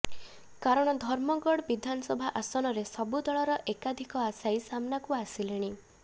କାରଣ ଧର୍ମଗଡ ବିଧାନସଭା ଆସନରେ ସବୁ ଦଳର ଏକାଧିକ ଆଶାୟୀ ସାମ୍ନାକୁ ଆସିଲେଣି